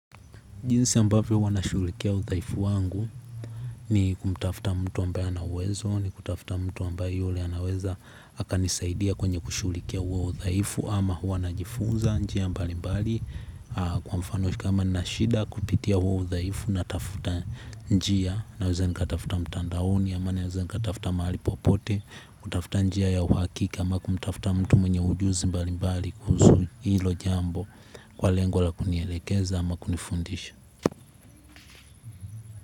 Jinsi ambavyo huwa nashughulikia udhaifu wangu ni kumtafta mtu ambaye anauwezo ni kutafta mtu ambaye yule anaweza akanisaidia kwenye kushughulikia huo udhaifu ama hua najifunza njia mbali mbali kwa mfano kama nani shida kupitia huo udhaifu natafuta njia naweza nikatafuta mtandaoni ama naweza nikatafta mahali popote kutafta njia ya uhakika ama kumtafta mtu mwenye ujuzi mbali mbali kuhusu hilo jambo kwa lengo la kunielekeza ama kunifundisha.